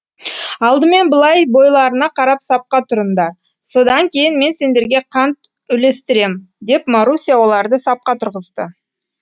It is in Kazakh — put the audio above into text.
алдымен былай бойларына қарап сапқа тұрындар содан кейін мен сендерге қант үлестірем деп маруся оларды сапқа тұрғызды